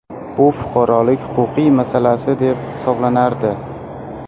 Bu fuqarolik-huquqiy masalasi deb hisoblanardi.